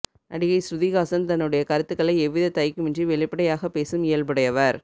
நடிகை ஸ்ருதிஹாசன் தன்னுடைய கருத்துக்களை எவ்வித தயக்கமுமின்றி வெளிப்படையாக பேசும் இயல்புடையவர்